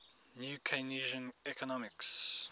new keynesian economics